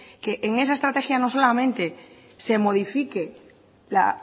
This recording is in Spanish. que en esa estrategia no solamente se modifique la